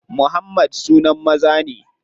Muhammad sunan maza ne.